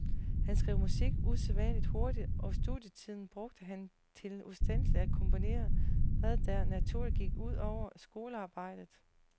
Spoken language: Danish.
Han skrev musik usædvanlig hurtigt, og studietiden brugte han til ustandselig at komponere, hvad der naturligvis gik ud over skolearbejdet.